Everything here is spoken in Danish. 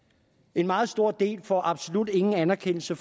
en meget stor del får absolut ingen anerkendelse